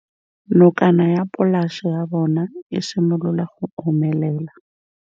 Nokana ya polase ya bona, e simolola go omelela.